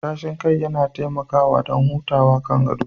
Matashin kai yana taimakawa don hutawa kan gado